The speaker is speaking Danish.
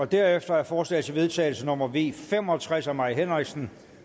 derefter er forslag til vedtagelse nummer v fem og tres af mai henriksen